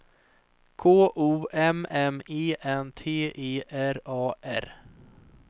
K O M M E N T E R A R